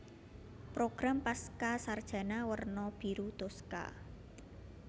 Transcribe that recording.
Program Pascasarjana werna biru toska